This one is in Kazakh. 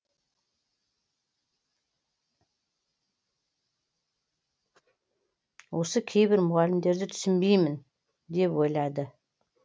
осы кейбір мұғалімдерді түсінбеймін деп ойлады